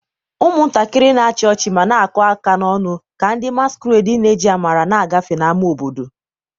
ụmụntakịrị na-achị ọchị ma na-akụ aka n'ọñụ ka ndị masquerades na-eji amara na-agafe n'ámá obodo.